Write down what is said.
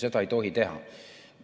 Seda ei tohi teha.